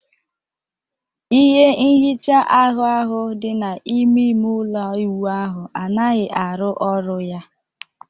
ihe nhicha ahbu ahụ dị n'ime ime ụlọ ịwụ ahụ anaghị arụ ọrụ ya.